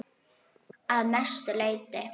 Að mestu leyti